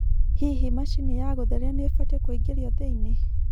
hĩhĩ machĩnĩ ya gutherĩa nĩ ibatie kuingirio thĩĩni